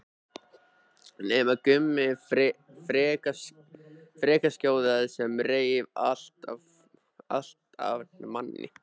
Nema Gummi frekjuskjóða sem reif allt af manni.